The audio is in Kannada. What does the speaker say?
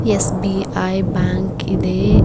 ಎಸ್ _ಬಿ_ಐ ಬ್ಯಾಂಕ್ ಇದೆ.